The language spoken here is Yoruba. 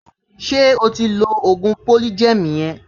Ṣé o ti ń lo ògùn polygem yẹn?